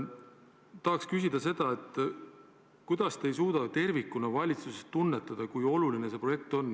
Tahangi küsida seda, kuidas te ei suuda valitsuses kui tervikus tunnetada, kui oluline see projekt on.